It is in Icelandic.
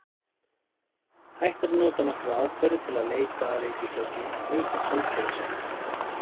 Hægt er að nota nokkrar aðferðir til að leita að reikistjörnum utan sólkerfis okkar.